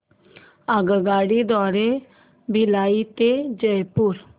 आगगाडी द्वारे भिलाई ते रायपुर